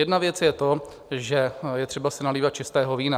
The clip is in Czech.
Jedna věc je to, že je třeba si nalévat čistého vína.